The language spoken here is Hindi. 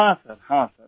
हाँ सर हाँ सर